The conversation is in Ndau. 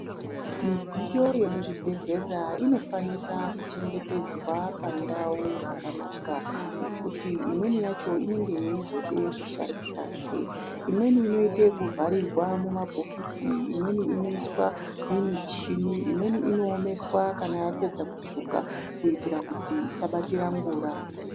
Midziyo yemuchibhedhleya inofanira kuchengetedzwa pandau dzakanaka ngekuti imweni yachona inenge yeizoda kushandiswahe imweni inoita ekuvharirwa mumabhokisi imweni inoiswa mimichini imweni inoomeswa kana yapedza kusukwa kuitira kuti isabatira ngura.